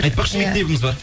айтпақшы мектебіңіз бар